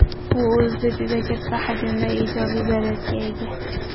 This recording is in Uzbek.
U o‘zida juda katta hajmda ijobiy zaryadga ega.